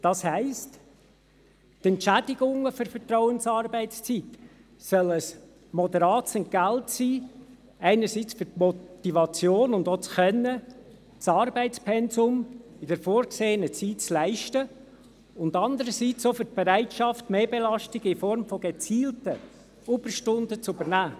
Das heisst, die Entschädigungen für die Vertrauensarbeitszeit sollen ein moderates Entgelt sein, einerseits für die Motivation und auch das Können, das Arbeitspensum in der vorgesehenen Zeit zu leisten, andererseits auch für die Bereitschaft, Mehrbelastungen in Form von gezielten Überstunden zu übernehmen.